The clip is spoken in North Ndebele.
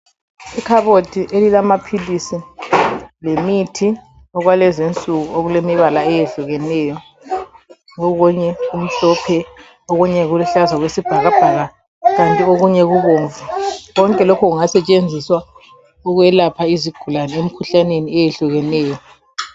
Ikhabothi elamaphilisi lemithi okwakulezi insuku okulemibala eyehlukeneyo. Okunye kumhlophe okunye kuluhlaza okwesibhakabhaka kanti okunye kubomvu Konke lokhu kungasetshenziswa ukwelapha izigulani emkhuhlaneni eyehlukeneyo.